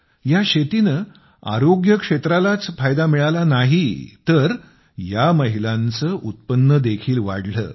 या शेतीने आरोग्य क्षेत्रालाच फायदा मिळाला नाही तर या महिलांचे उत्पन्न देखील वाढले